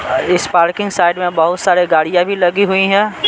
इस parking side में बहुत सारे गाड़ियां भी लगी हुई हैं।